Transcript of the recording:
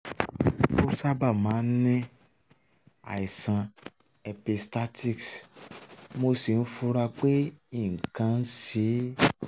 ó sábà máa ń ní àìsàn epistaxis mo sì fura pé nǹkan kan ń ṣe é